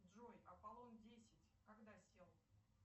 джой аполлон десять когда сел